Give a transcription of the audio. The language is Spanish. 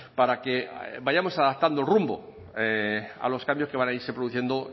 para que vayamos adaptando rumbo a los cambios que van a irse produciendo